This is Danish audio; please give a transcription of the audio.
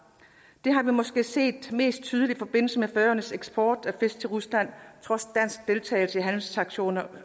det har vi måske set mest tydeligt i forbindelse med færøernes eksport af fisk til rusland trods dansk deltagelse i handelssanktioner